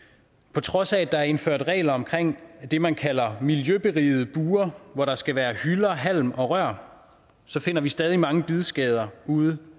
på trods af at der er indført regler om det man kalder miljøberigede bure hvor der skal være hylder halm og rør finder vi stadig mange bidskader ude